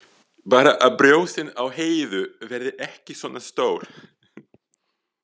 Bara að brjóstin á Heiðu verði ekki svona stór.